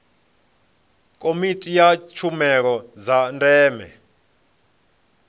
komiti ya tshumelo dza ndeme